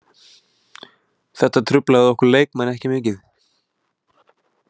Þetta truflaði okkur leikmenn ekki mikið.